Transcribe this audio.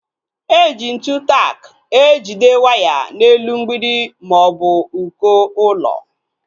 Eji ntụ tak ejide waya n'elu mgbidi maọbụ uko ụlọ